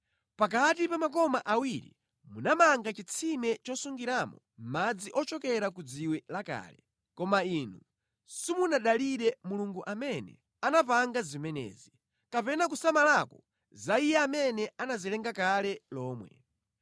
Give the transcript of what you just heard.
Pakati pa makoma awiri munamanga chitsime chosungiramo madzi ochokera ku dziwe lakale, koma inu simunadalire Mulungu amene anapanga zimenezi, kapena kusamalako za Iye amene anazilenga kale lomwe.